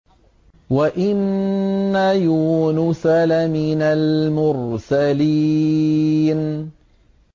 وَإِنَّ يُونُسَ لَمِنَ الْمُرْسَلِينَ